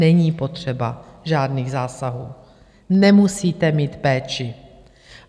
Není potřeba žádných zásahů, nemusíte mít péči.